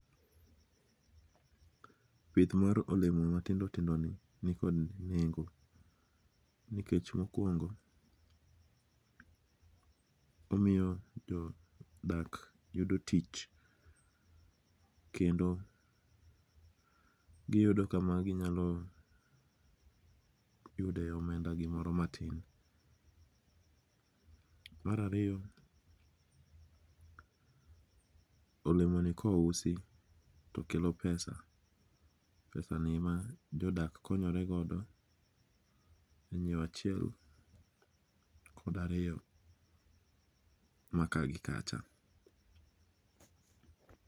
Pith mar olemo matindo tindoni ni kod nengo, nikech mokuongo omiyo jodak yudo tich kendo giyudo kama ginyalo yudoe omenda gimoro matin. Mar ariyo olemoni kousi to kelo pesa, pesani ma jodak konyoregodo inyiewo achiel kod ariyo ma ka gi kacha.